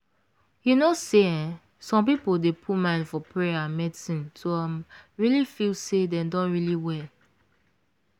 you know say eeh some people dey put mind for payer and medicine to um really feel say dem don really well.